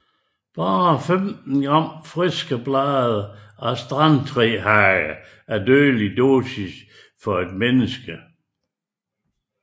Bare 15 gram friske blade af strandtrehage er dødelig dosis for et menneske